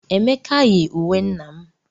Emeka yi uwe nna m.